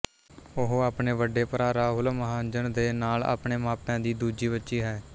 ਉਹ ਆਪਣੇ ਵੱਡੇ ਭਰਾ ਰਾਹੁਲ ਮਹਾਜਨ ਦੇ ਨਾਲ ਆਪਣੇ ਮਾਪਿਆਂ ਦੀ ਦੂਜੀ ਬੱਚੀ ਹੈ